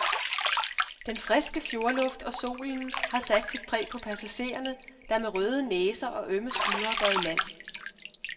Den friske fjordluft og solen har sat sit præg på passagerne, der med røde næser og ømme skuldre går i land.